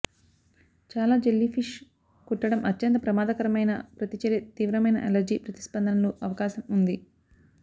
చాలా jellyfish కుట్టడం అత్యంత ప్రమాదకరమైన ప్రతిచర్య తీవ్రమైన అలెర్జీ ప్రతిస్పందనలు అవకాశం ఉంది